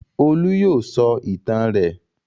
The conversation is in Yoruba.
Olú yóò sọ ìtàn rẹ̀.